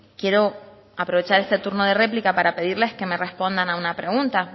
quiero aprovechar este turno de réplica para pedirles que me respondan a una pregunta